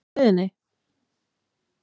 Á leiðinni?